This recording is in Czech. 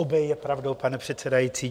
Obé je pravdou, pane předsedající.